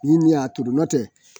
Ni min y'a turu n'o tɛ